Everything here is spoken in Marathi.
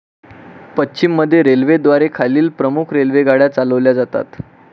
पश्चिम मध्य रेल्वेद्वारे खालील प्रमुख रेल्वेगाड्या चालवल्या जातात.